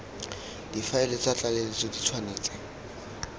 difaele tsa tlaleletso di tshwanetse